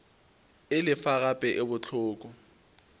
e lefa gape e bohloko